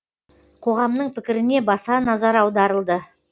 қоғамның пікіріне баса назар аударылды